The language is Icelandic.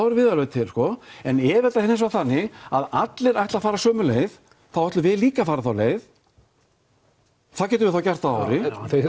erum við alveg til sko en ef þetta er hins vegar þannig að allir ætla fara sömu leið þá ætlum við líka að fara þá leið það getum við þá gert að ári